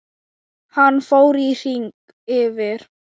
Hann fór í hring yfir